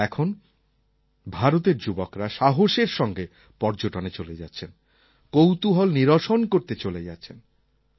আর এখন ভারতের যুবকরা সাহসের সঙ্গে পর্যটনে চলে যাচ্ছেন কৌতূহল নিরসন করতে চলে যাচ্ছেন